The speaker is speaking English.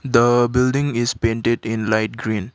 the building is painted in light green.